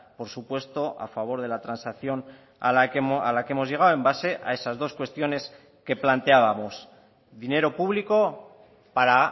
por supuesto a favor de la transacción a la que hemos llegado en base a esas dos cuestiones que planteábamos dinero público para